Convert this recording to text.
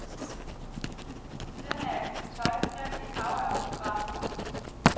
Ved siden af at vise tøj, skrev de et hav af autografer.